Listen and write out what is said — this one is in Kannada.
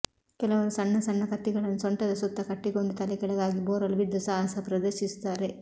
ಕೆಲವರು ಸಣ್ಣ ಸಣ್ಣ ಕತ್ತಿಗಳನ್ನು ಸೊಂಟದ ಸುತ್ತಕಟ್ಟಿಕೊಂಡು ತಲೆಕೆಳಗಾಗಿ ಬೋರಲು ಬಿದ್ದು ಸಾಹಸ ಪ್ರದರ್ಶಿಸುತ್ತಾರೆ